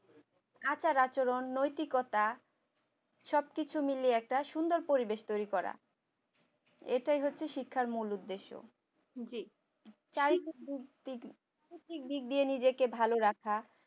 আচার-আচরণ নৈতিকতা সবকিছু মিলে একটা সুন্দর পরিবেশ তৈরি করা এটাই হচ্ছে শিক্ষার মূল উদ্দেশ্য নিজেকে ভালো রাখা